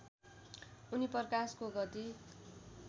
उनी प्रकाशको गति